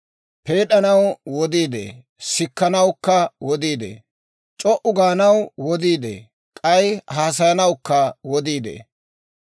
Peed'anaw wodii de'ee; sikkanawukka wodii de'ee. C'o"u gaanaw wodii de'ee; k'ay haasayanawukka wodii de'ee.